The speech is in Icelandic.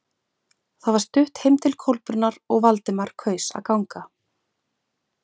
Það var stutt heim til Kolbrúnar og Valdimar kaus að ganga.